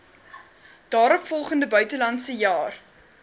daaropvolgende buitelandse jaar